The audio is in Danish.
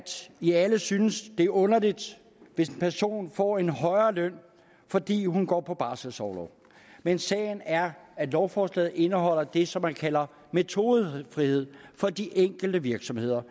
i alle synes det er underligt hvis en person får en højere løn fordi hun går på barselsorlov men sagen er at lovforslaget indeholder det som man kalder metodefrihed for de enkelte virksomheder